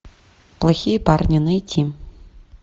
плохие парни найти